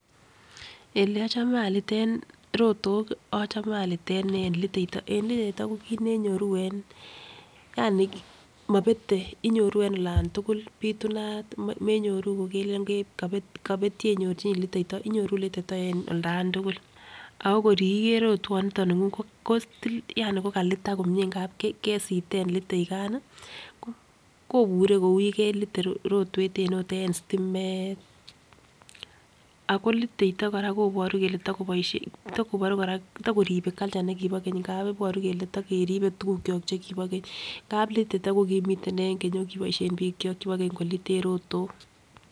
Ele ochome aliten rotok ochome aliten en liteito, en liteito ko kit neyoru en yaani mobete inyoruu en olan tukul pitunat menyoru kokelelen kopet kopet yeinyorchinii liteito inyoruu liteito en olan tukul ak korkiiker rotwononiton ningung ko tilil yaani ko kalitak komie kesiren litain kan nii kobure kou yekelite rotwet en ot en stimet. Ako litaito Koraa koboru kole toko tokoboishe yokoboru Koraa tokoribe culture nekibo kenyi ngap iboru kele yokeribe tukukyok chekibo keny, ngap litaito ko komiten en keny okiboishen bik kyok chekibo keny koliten rotok.